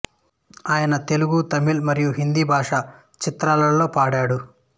ఆయన తెలుగు తమిళ్ మరియు హిందీ భాషా చిత్రాలలో పాడాడు